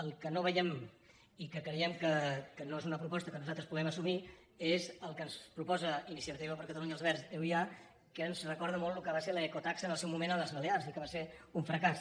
el que no veiem i que creiem que no és una proposta que nosaltres puguem assumir és el que ens proposa iniciativa per catalunya els verds euia que ens recorda molt el que va ser l’ecotaxa en el seu moment a les balears i que va ser un fracàs